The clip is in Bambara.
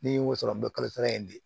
N'i y'o sɔrɔ dɔ kalosa la yen de